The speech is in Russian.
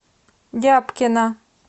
дябкина